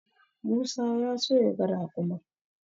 Musa ya so yaga raƙumin.